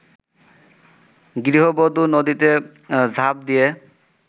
গৃহবধূ নদীতে ঝাঁপ দিয়ে